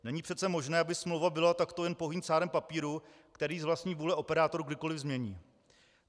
Není přece možné, aby smlouva byla takto jen pouhým cárem papíru, který z vlastní vůle operátor kdykoli změní.